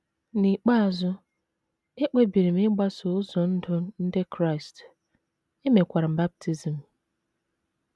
N’ikpeazụ, ekpebiri m ịgbaso ụzọ ndụ ndị Kraịst, e mekwara m baptism.